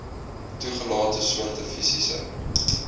toegelate soorte fisiese